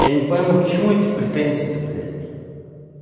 я не пойму к чему эти претензии-то блять